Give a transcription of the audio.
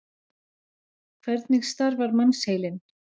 Hvernig starfar mannsheilinn?